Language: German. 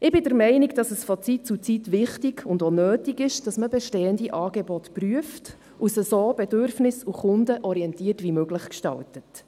Ich bin der Meinung, dass es von Zeit zu Zeit wichtig und auch nötig ist, dass man bestehende Angebote prüfen und sie so bedürfnis- und kundenorientiert wie möglich gestaltet.